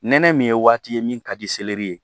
Nɛnɛ min ye waati ye min ka di ye